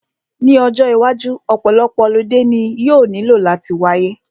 Ní ọjọ́ iwájú, ọ̀pọ̀lọpọ̀ holiday ni yóò nílò láti wáyé